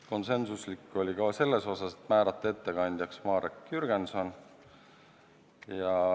Konsensuslik oli komisjon ka selles, et määrata ettekandjaks Marek Jürgenson.